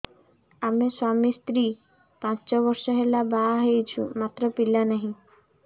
ଆମେ ସ୍ୱାମୀ ସ୍ତ୍ରୀ ପାଞ୍ଚ ବର୍ଷ ହେଲା ବାହା ହେଇଛୁ ମାତ୍ର ପିଲା ନାହିଁ